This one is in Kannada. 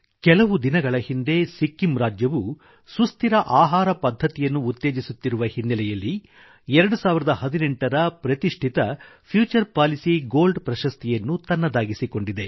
ಕೆಲವು ದಿನಗಳ ಹಿಂದೆ ಸಿಕ್ಕಿಮ್ ರಾಜ್ಯವು ಸುಸ್ಥಿರ ಆಹಾರ ಪದ್ಧತಿಯನ್ನುಉತ್ತೇಜಿಸುತ್ತಿರುವ ಹಿನ್ನೆಲೆಯಲ್ಲಿ 2018 ರ ಪ್ರತಿಷ್ಠಿತ ಫ್ಯೂಚರ್ ಪಾಲಿಸಿ ಗೋಲ್ಡ್ ಅವಾರ್ಡ್ ಪ್ರಶಸ್ತಿಯನ್ನು ತನ್ನದಾಗಿಸಿಕೊಂಡಿದೆ